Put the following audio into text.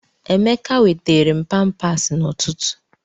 Emeka weteere m pampaasi n'ụtụtụ.